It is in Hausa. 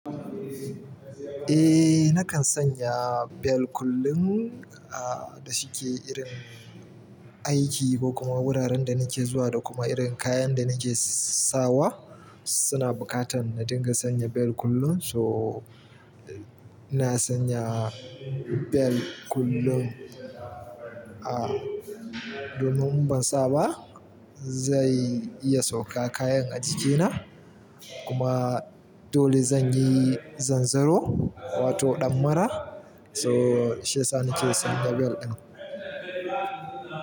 Eh, nakan sanya bel kullum ah da shike irin aiki ko kuma wuraren da nake zuwa da kuma irin kayan da nake sawa suna bukatan na dinga sanya bel kullum. So na sanya bel kullum a domin in ban saba zai iya sauka kayan a jikina kuma kuma dole zanyi zanzaro wato ɗan mara. So shi ya sa nike sanya bel ɗin.